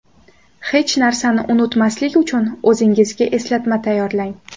Hech narsani unutmaslik uchun o‘zingizga eslatma tayyorlang.